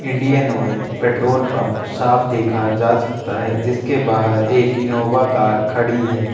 Indian Oil petrol pump साफ देखा जा सकता है जिसके बाहर एक इन्नोवा कार खड़ी है।